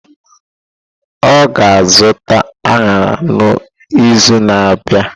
Ọ ga-azụta añara n'izu na-abịa?